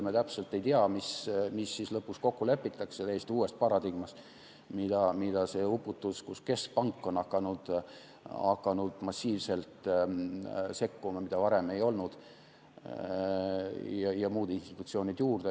Me täpselt ei tea, milles siis lõpus kokku lepitakse täiesti uues paradigmas, kui on "uputus", kus keskpank on hakanud massiivselt sekkuma, mida varem ei olnud, ja muud institutsioonid juurde.